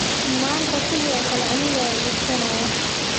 Maanta sidoo kale aniga ayaa i iibsanaya